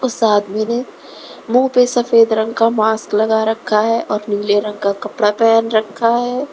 इस आदमी ने मुंह पे सफेद रंग का मास्क लगा रखा है और नीले रंग का कपड़ा पहन रखा है।